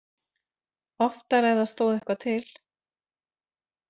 Oftar ef það stóð eitthvað til.